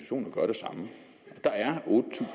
samme der er